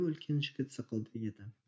үлкен жігіт сықылды еді